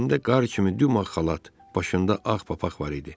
Əynində qar kimi dümağ xalat, başında ağ papaq var idi.